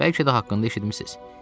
Bəlkə də haqqında eşitmisiniz.